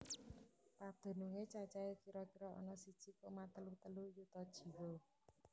Pedunungé cacahé kira kira ana siji koma telu telu yuta jiwa